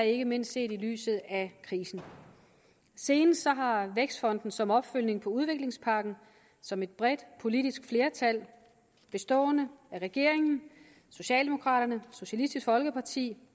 ikke mindst ses i lyset af krisen senest har vækstfonden som opfølgning på udviklingspakken som et bredt politisk flertal bestående af regeringen socialdemokraterne socialistisk folkeparti